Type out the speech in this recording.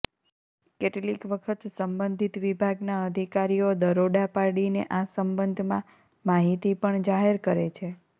કેટલીક વખથ સંબંધિત વિભાગના અધિકારીઓ દરોડા પાડીને આ સંબંધમાં માહિતી પણ જાહેર કરે છે